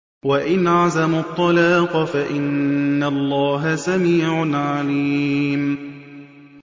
وَإِنْ عَزَمُوا الطَّلَاقَ فَإِنَّ اللَّهَ سَمِيعٌ عَلِيمٌ